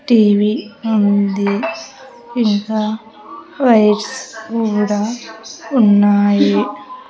TV ఉంది ఇంకా rice కూడా ఉన్నాయి.